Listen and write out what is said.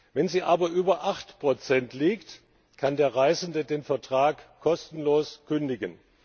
Wenn sie aber über 8nbsp liegt, kann der Reisende den Vertrag kostenlos kündigen.